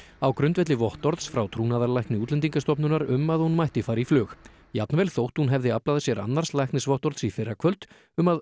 á grundvelli vottorðs frá trúnaðarlækni Útlendingastofnunar um að hún mætti fara í flug jafnvel þótt hún hefði aflað sér annars læknisvottorðs í fyrrakvöld um að